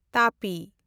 ᱛᱟᱯᱤ